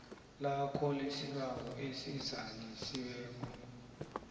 lakho lesibawo elizalisiweko